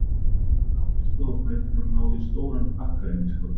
Pabbi stóð á fætur og náði í stóran pakka inn í skápinn.